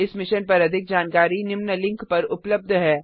इस मिशन पर अधिक जानकारी निम्न लिंक पर उपलब्ध है